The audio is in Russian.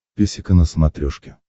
песика на смотрешке